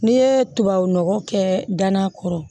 N'i ye tubabu nɔgɔ kɛ danna kɔrɔ